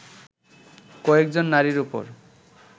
কয়েকজন নারীর উপর